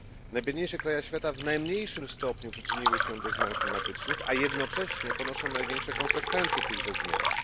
Najbiedniejsze kraje świata w najmniejszym stopniu przyczyniły się do zmian klimatycznych, a jednocześnie ponoszą największe konsekwencje tychże zmian.